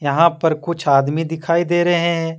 यहां पर कुछ आदमी दिखाई दे रहे हैं।